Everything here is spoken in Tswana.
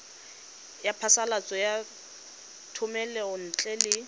ya phasalatso ya thomelontle le